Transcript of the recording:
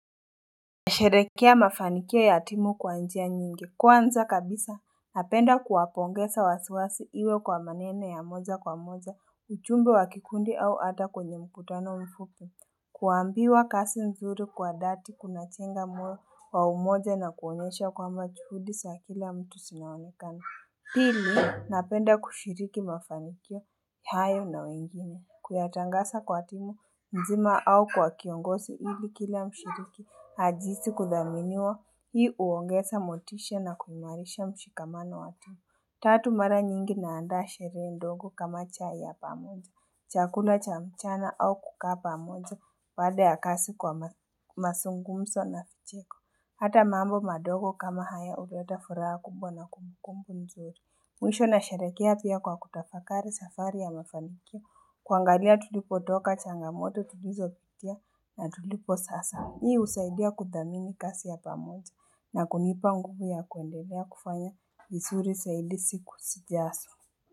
Nasherehekea mafanikio ya timu kwa njia nyingi kwanza kabisa napenda kuwapongeza waziwazi iwe kwa maneno ya moja kwa moja ujumbe wa kikundi au hata kwenye mkutano mfupi kuambiwa kazi nzuri kwa dhati kunajenga moyo wa umoja na kuonyesha kwamba juhudi za kila mtu zinaonekana Pili napenda kushiriki mafanikio hayo na wengine. Kuyatangaza kwa timu nzima au kwa kiongozi ili kila mshiriki ajihisi kuthaminiwa hii huongeza motisha na kuimarisha mshikamano wa timu. Tatu mara nyingi na andaa sherehe ndogo kama chai ya pamoja, chakula cha mchana au kukaa pamoja, baada ya kazi kwa mazungumzo na vicheko. Hata mambo madogo kama haya huleta furaha kubwa na kumbukumbu nzuri. Mwisho nasherekea pia kwa kutafakari safari ya mafanikio, kuangalia tulipotoka changamoto tulizopitia na tulipo sasa. Hii husaidia kuthamini kazi ya pamoja na kunipa nguvu ya kuendelea kufanya vizuri zaidi siku zijazo.